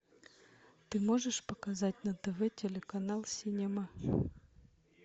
ты можешь показать на тв телеканал синема